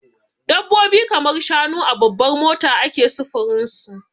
Dabbobi kamar shanu a babbar mota ake sufurin su.